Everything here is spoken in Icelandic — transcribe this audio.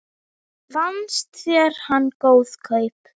Fannst þér hann góð kaup?